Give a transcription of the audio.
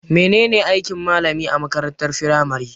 Me ne ne aikin malami a makarantar firamare?